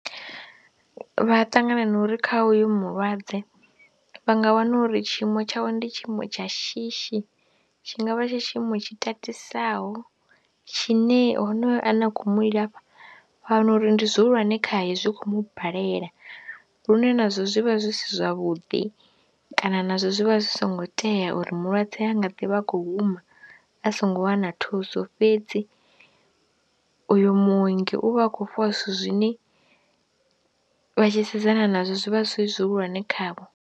Vha ṱanganana uri kha hoyo mulwadze vha nga wana uri tshiimo tshawe ndi tshiimo tsha shishi tshi nga vha tsha tshiimo tshi tatisaho tshine honoyo ane a khou mu ilafha wa wana uri ndi zwihulwane khae zwi khou mu balela lune nazwo zwi vha zwi si zwavhuḓi kana nazwo zwi vha zwi songo tea uri mulwadze a nga ḓi vha a khou huma a songo wana thuso fhedzi uyu muongi u vha a khou fhiwa zwithu zwine vha tshi sedzana nazwo zwi vha zwi zwihulwane khavho.